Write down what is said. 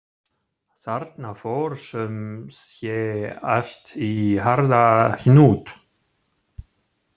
Þarna fór sum sé allt í harða hnút.